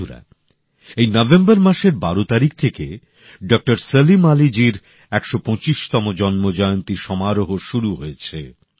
বন্ধুরা এই নভেম্বর মাসের ১২ তারিখ থেকে ডক্টর সালিম আলিজীর একশো পঁচিশতম জন্মজয়ন্তী সমারোহ শুরু হয়েছে